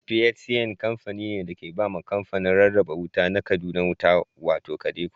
PHCN kamfani ne da ke ba wa kamfanin rarraba wuta na Kaduna wuta, wato KADECO.